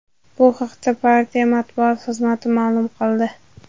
Bu haqda partiya matbuot xizmati ma’lum qildi .